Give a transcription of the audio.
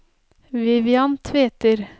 Vivian Tveter